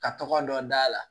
Ka tɔgɔ dɔ d'a la